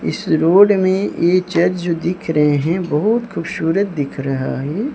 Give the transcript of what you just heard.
इस रोड में ए चर्च जो दिख रहे है बहुत खूबशूरत दिख रहा है।